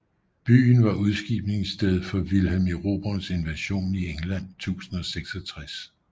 Byen var udskibningssted for Vilhelm Erobrerens invasion i England 1066